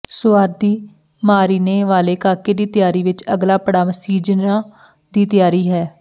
ਸੁਆਦੀ ਮਾਰੀਨੇ ਵਾਲੇ ਕਾਕੇ ਦੀ ਤਿਆਰੀ ਵਿੱਚ ਅਗਲਾ ਪੜਾਅ ਸੀਜ਼ਨਾਂ ਦੀ ਤਿਆਰੀ ਹੈ